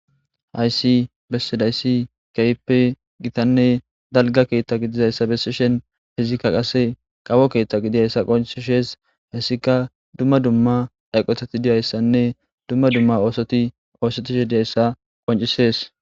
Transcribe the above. Haysi besizaysi keehippe Gitanne dalga keta gididaysa besishn izika qase kawo keta gidizaysa qoncises, hesika dumma dumma eqotati diyaysanne dumma dumma oosoti osetishe dizaysa qoncises.